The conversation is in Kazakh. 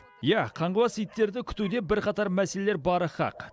иә қаңғыбас иттерді күтуде бірқатар мәселелер бары хақ